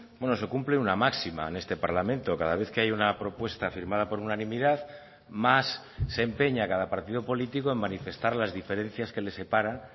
bueno se cumple una máxima en este parlamento cada vez que hay una propuesta firmada por unanimidad más se empeña cada partido político en manifestar las diferencias que les separan